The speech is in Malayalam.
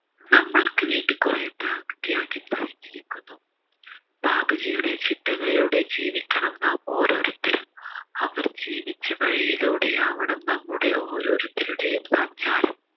നമ്മൾക്ക് വേണ്ടി കുറെ ത്യാഗ് ത്യാഗം സഹിച്ചിരിക്കുന്നു ബാപ്പുജിയുടെ ചിട്ടകളിലൂടെ ജീവിക്കണം നാം ഓരോരുത്തരും അവർ ജീവിച്ച വഴിയിലൂടെയാവണം നമ്മുടെ ഓരോരുത്തരുടെയും സഞ്ചാരം